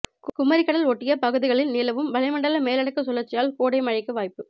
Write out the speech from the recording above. குமரிக்கடல் ஒட்டிய பகுதிகளில் நிலவும் வளிமண்டல மேலடுக்கு சுழற்சியால் கொடை மழைக்கு வாய்ப்பு